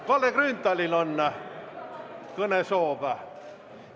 Kalle Grünthalil on kõnesoov!